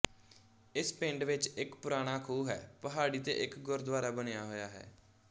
ਇਸ ਪਿੰਡ ਵਿੱਚ ਇੱਕ ਪੁਰਾਣਾ ਖੂਹ ਹੈ ਪਹਾੜੀ ਤੇ ਇੱਕ ਗੁਰੂਦੁਆਰਾ ਬਣਿਆ ਹੋਇਆ ਹੈ